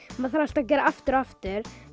maður þarf alltaf að gera aftur og aftur